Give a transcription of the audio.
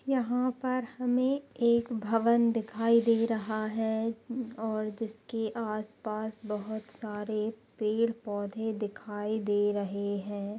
यहां पर हमें एक भवन दिखाई दे रहा है और जिसके आसपास बहुत सारे पेड पौधे दिखाई दे रहे है।